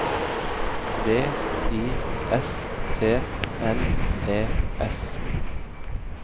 V I S T N E S